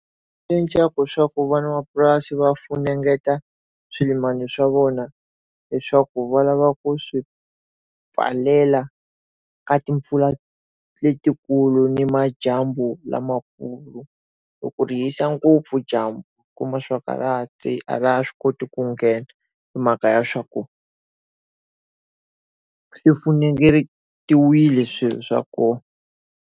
Ku swa ku van'wamapurasi va funengeta swimilani swa vona leswaku va lava ku swi pfalela ka timpfula letikulu ni majambu lamakulu loko ri hisa ngopfu dyambu kuma swa wakarati a laha swi koti ku nghena mhaka ya swaku swifunengetiwile swilo swa koho.